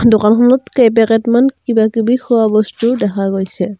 দোকানখনত কেই পেকেট মান কিবা কিবি খোৱা বস্তু দেখা গৈছে।